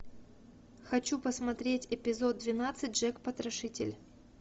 хочу посмотреть эпизод двенадцать джек потрошитель